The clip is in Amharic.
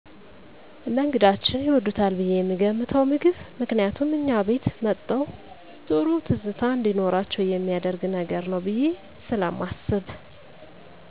እነግዳችን ይወዱታል ብየ የምገምተዉን ምግብ ምክንያቱም እኛ ቤት መተዉ ጥሩ ትዝታ እንዲኖራቸዉ የሚያደርግ ነገር ነዉ ብየ ስለማስብ